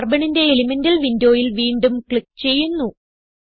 Carbonന്റെ elemental windowയിൽ വീണ്ടും click ചെയ്യുന്നു